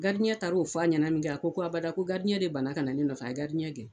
taar'o f'a ɲɛna min kɛ a ko abada ko de banna kana ne nɔfɛ, a ye gɛn.